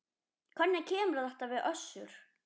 Hvernig kemur þetta við Össur?